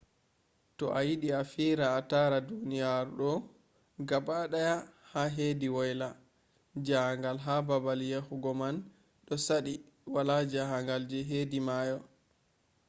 to ayidi a fira a tara duniyaru do gabadaya ha hedi waila jangal be babal yahugo man do sadi wala jangal je hedi mayo